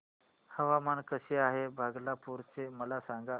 हवामान कसे आहे भागलपुर चे मला सांगा